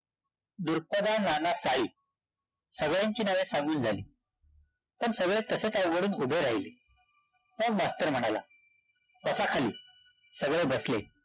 धुरपदा नाना साळी. सगळ्यांची नावे सांगून झाली. पण सगळे तसेच अवघडून उभे राहिले. मग मास्तर म्हणाला, बसा खाली. सगळे बसले.